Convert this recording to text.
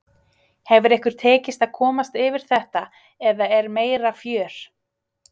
Hefur ykkur tekist að komast fyrir þetta eða er meira fjör?